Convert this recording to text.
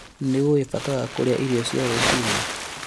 Nĩũĩ bata wa kũrĩa irio cia rũciinĩ?